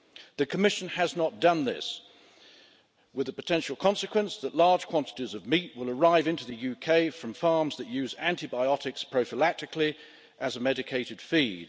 The Commission has not done this, with the potential consequence that large quantities of meat will arrive into the UK from farms that use antibiotics prophylactically, as a medicated feed.